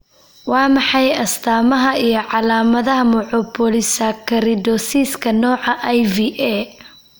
Waa maxay astamaha iyo calaamadaha Mucopolysaccharidosiska nooca IVA?